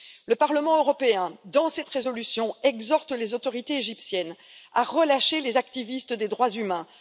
Le Parlement européen, dans cette résolution, exhorte les autorités égyptiennes à relâcher les activistes des droits humains.